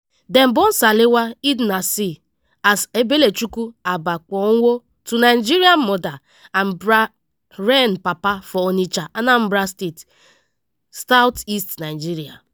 dem born salwa eid naser as ebelechukwu agbapuonwu to nigerian mother and bahrain papa for onitsha anambra state south east nigeria.